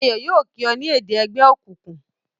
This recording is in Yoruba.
Ayo yóò kí o ni èdè ègbé òkùnkùn